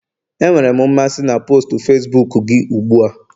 Enwere m mmasị na post Facibuku gị ugbu a